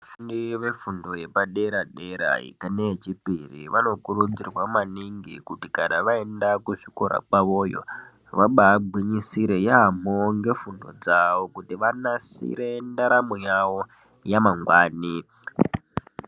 Vafundi vefundo yepadera dera neye chipiri vanokurudzirwa maningi Kuti kana vaenda kuzvikora kwavoyo vabagwinyisire yambo ngefundo dzavo kuti vanasire ndaramo yavo yamangwani.